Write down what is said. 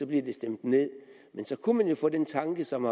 vi stemt ned men så kunne man jo få den tanke som